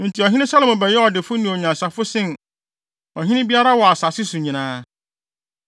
Enti ɔhene Salomo bɛyɛɛ ɔdefo ne onyansafo sen ɔhene biara wɔ asase so nyinaa.